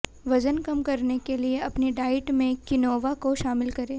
वजन कम करने के लिए अपनी डाइट में क्विनोआ को शामिल करें